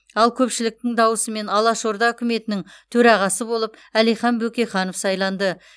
ал көпшіліктің дауысымен алаш орда үкіметінің төрағасы болып әлихан бөкейханов сайланды